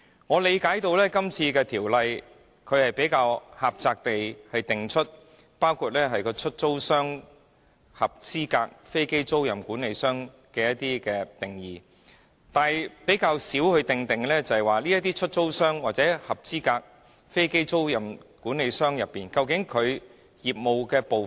我理解今次《條例草案》只狹窄地為包括"出租商"及"合資格飛機租賃管理商"提供定義，但較少就這些出租商或合資格飛機租賃管理商的業務細節作出界定。